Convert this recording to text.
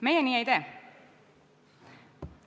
Meie nii ei tee.